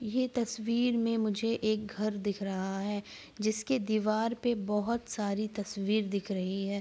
ये तस्वीर में मुझे एक घर दिख रहा है जिसके दीवार में बहुत सारे तस्वीर दिख रही हैं।